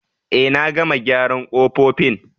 Eh, na gama gyaran kofofin.